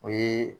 O ye